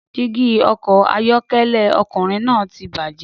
Dígí ọkọ̀ ayọ́kẹ́lẹ́ ọkùnrin náà ti bàjẹ́